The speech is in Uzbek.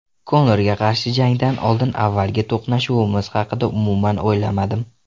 Konorga qarshi jangdan oldin avvalgi to‘qnashuvimiz haqida umuman o‘ylamadim.